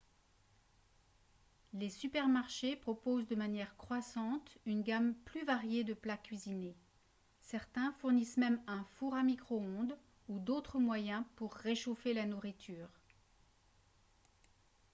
les supermarchés proposent de manière croissante une gamme plus variée de plats cuisinés certains fournissent même un four à micro-ondes ou d'autres moyens pour réchauffer la nourriture